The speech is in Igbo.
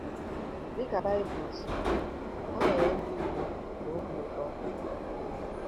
Dị ka Bible si kwuo, ha nwere ndụ udo na obi ụtọ.